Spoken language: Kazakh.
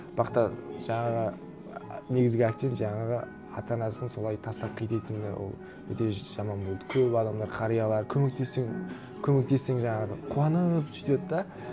бірақ та жаңағы і негізгі акцент жаңағы ата анасын солай тастап кететіні ол өте жаман болды көп адамдар қариялар көмектессең көмектессең жаңағы қуанып сөйтеді де